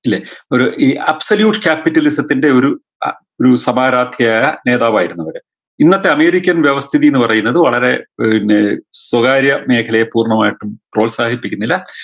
ഇല്ലേ ഒരു ഈ apsolush capitalism ത്തിൻറെ ഒരു ആഹ് ഒരു സമാരാദ്ധ്യായ നേതാവായിരുന്നു അവര് ഇന്നത്തെ american വ്യവസ്ഥിതിന്ന് പറയുന്നത് വളരെ പിന്നേ സ്വകാര്യ മേഖലയെ പൂർണമായിട്ടും പ്രോത്സാഹിപ്പിക്കുന്നില്ല